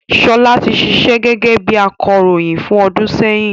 Ṣọlá ti ṣíṣe gẹ́gẹ́ bí akọròyìn fún ọdún sẹ́yìn